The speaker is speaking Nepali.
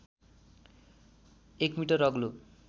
१ मिटर अग्लो